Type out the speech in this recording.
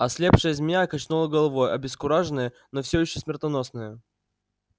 ослепшая змея качнула головой обескураженная но все ещё смертоносная